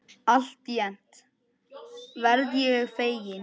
Alltént verð ég feginn.